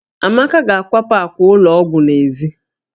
Amaka ga-akwapụ àkwà ụlọ ọgwụ n'èzí